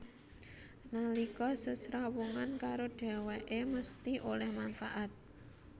Nalika sesrawungan karo dhèwèké mesthi oleh manfaat